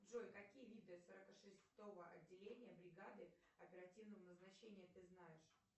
джой какие виды сорок шестого отделения бригады оперативного назначения ты знаешь